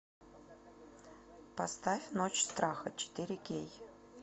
поставь ночь страха четыре кей